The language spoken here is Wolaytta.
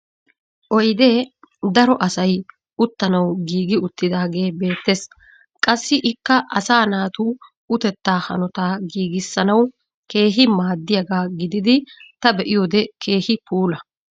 Oydee daro asay uttanawu giigi uttidaagee beetees. Qassi ikka asaa naatu utettaa hanotaa giigisanawu keehi maddiyaga gididi ta be'iyode keehi puula.